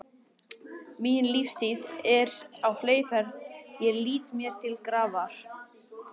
Mín lífstíð er á fleygiferð, ég flýti mér til grafar.